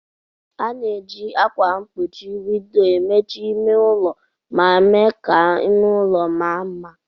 A na-eji ákwà mkpuchi windọ emechi ime ụlọ ma mee ka ime ụlọ ma mma.